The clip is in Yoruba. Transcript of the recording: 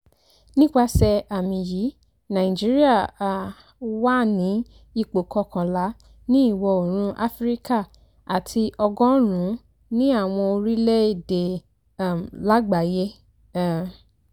nípasẹ̀ àmì yìí nàìjíríà um wà ní ipò kọkànlá ní ìwọ̀ oòrùn áfíríkà àti ọgọ́rùn-ún ní àwọn orílẹ̀-èdè um lágbàáyé um